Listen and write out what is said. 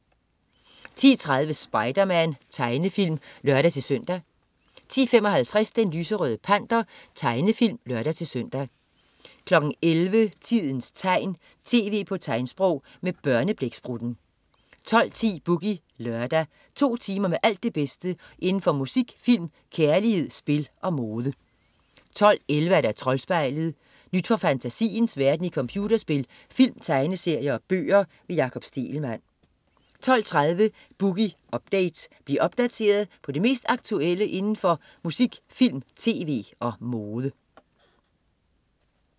10.30 Spiderman. Tegnefilm (lør-søn) 10.55 Den lyserøde panter. Tegnefilm (lør-søn) 11.00 Tidens tegn, tv på tegnsprog. Med Børneblæksprutten 12.10 Boogie Lørdag. To timer med alt det bedste inden for musik, film, kærlighed, spil og mode 12.11 Troldspejlet. Nyt fra fantasiens verden i computerspil, film, tegneserier og bøger. Jakob Stegelmann 12.30 Boogie Update. Bliv opdateret på det mest aktuelle inden for musik, film, tv og mode